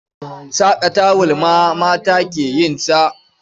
Saƙa tawul ma mata ke yin sa.